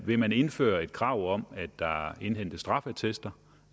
vil man indføre et krav om at der indhentes straffeattester